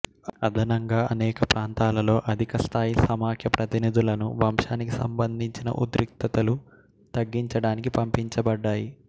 అదనంగా అనేక ప్రాంతాలలో అధిక స్థాయి సమాఖ్య ప్రతినిధులను వంశానికి సంబంధించిన ఉద్రిక్తతలు తగ్గించటానికి పంపించబడ్డాయి